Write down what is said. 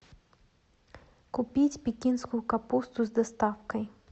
купить пекинскую капусту с доставкой